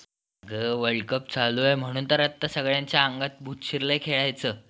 अग World Cup चालूये म्हणून तर आता सगळ्यांच्या अंगात भूत शिरलंय खेळायचं.